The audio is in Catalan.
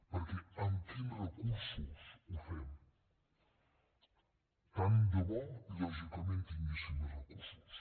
perquè amb quins recursos ho fem tant de bo lògicament tinguéssim més recursos